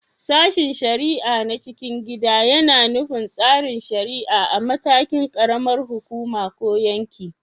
Sashen shari’a na cikin gida yAna nufin tsarin shari’a a matakin ƙaramar hukuma ko yanki